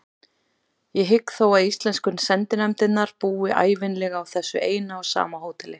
Ég hygg þó að íslensku sendinefndirnar búi ævinlega á þessu eina og sama hóteli.